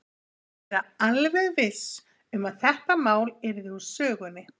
Ég vildi vera alveg viss um að þetta mál yrði úr sögunni.